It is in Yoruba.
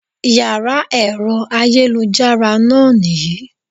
Yàrá èro ayélujára náà nì yí